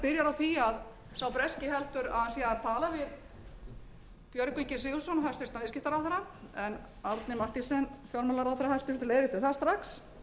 byrjar á því að sá breski heldur að hann sé að tala við björgvin g sigurðsson hæstvirtur viðskiptaráðherra en árni mathiesen fjármálaráðherra hæstvirtur leiðrétti það strax